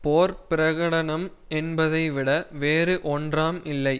போர் பிரகடனம் என்பதைவிட வேறு ஒன்றாம் இல்லை